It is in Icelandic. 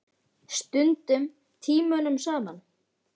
Stundum tímunum saman.